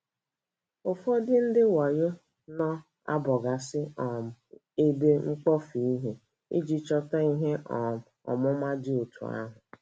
Ụfọdụ ndị wayo na - abọgasị um ebe mkpofu ihe iji chọta ihe um ọmụma dị otú ahụ.